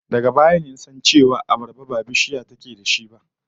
Daga baya ne na san cewa abarba ba bishiya ce take da shi ba